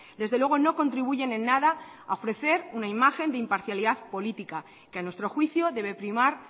desde luego no contribuyen en nada a ofrecer una imagen de imparcialidad política que a nuestro juicio debe primar